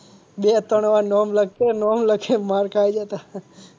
બે ત્રણ વાર નામ લખે નામ લખે ને માર ખાયે જતાં.